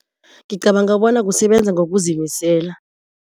Ngicabanga bona kusebenza ngokuzimisela.